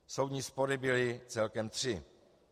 Soudní spory byly celkem tři.